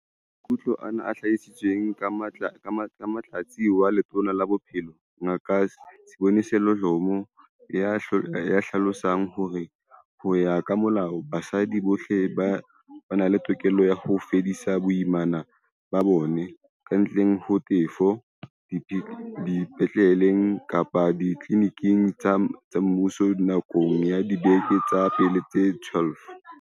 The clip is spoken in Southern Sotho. Maikutlo ana a hlahisitswe ke Motlatsi wa Letona la Bophelo, Ngaka Sibongiseni Dhlomo, ya hlalosang hore, ho ya ka molao, basadi bohle ba na le tokelo ya ho fedisa boimana ba bona, kantle ho tefo, dipetleleng kapa ditliliniking tsa mmuso nakong ya dibeke tsa pele tse 12.